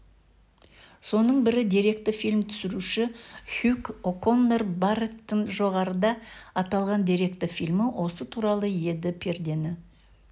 соның бірі деректі фильм түсіруші хюг оконнер барреттің жоғарыда аталған деректі фильмі осы туралы еді пердені